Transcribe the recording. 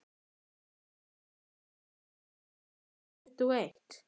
Valsteinn, hvenær kemur leið númer tuttugu og eitt?